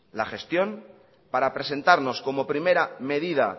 la gestión para presentarnos como primera medida